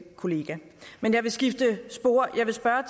kollega men jeg vil skifte spor jeg vil spørge